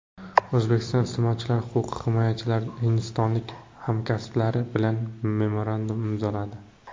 O‘zbekiston iste’molchilar huquqi himoyachilari hindistonlik hamkasblari bilan memorandum imzoladi.